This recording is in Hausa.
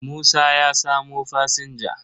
Musa ya samo fasinja.